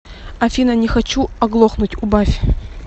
афина не хочу оглохнуть убавь